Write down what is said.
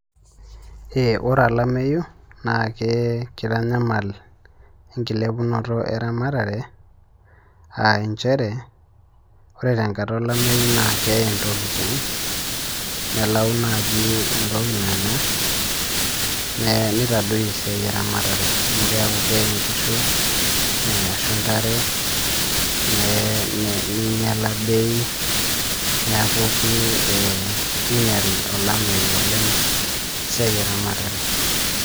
Ore olameyu, naake kitanyamal enkilepunoto eramatare, ah injere, ore tenkata olameyu naa keye ntokiting, nelau naji entoki nanya, nitadoyio esiai eramatare. Amu keeku keye nkishu, ashu ntare, neye ninyals bei, neeku kinyal olameyu oleng esiai eramatare.